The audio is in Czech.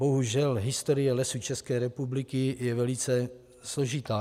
Bohužel historie Lesů České republiky je velice složitá.